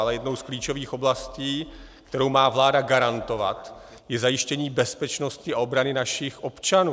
Ale jednou z klíčových oblastí, kterou má vláda garantovat, je zajištění bezpečnosti a obrany našich občanů.